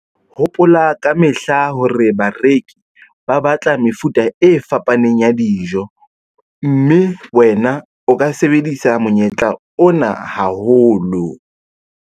Hopola ka mehla hore bareki ba batla mefuta e fapaneng ya dijo, mme wena o ka sebedisa monyetla ona haholo.